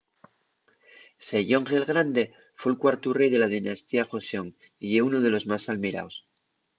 sejong el grande fue’l cuartu rei de la dinastía joseon y ye unu de los más almiraos